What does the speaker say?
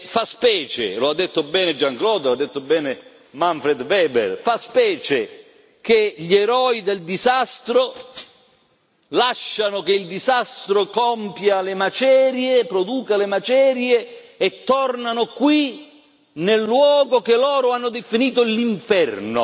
Fa specie e lo ha detto Jean Claude, lo ha detto bene Manfred Weber fa specie che gli eroi del disastro lascino che il disastro produca le macerie e tornano qui, nel luogo che loro hanno definito l'inferno.